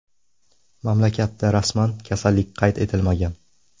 Mamlakatda rasman kasallik qayd etilmagan.